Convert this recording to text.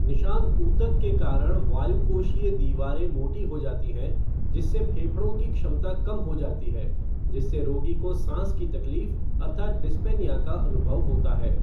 निशान ऊतक के कारण वायुकोशीय दीवारें मोटी हो जाती हैं, जिससे फेफड़ों की क्षमता कम हो जाती है जिससे रोगी को साँस की तकलीफ अर्थात् डिस्पनिया का अनुभव होता है।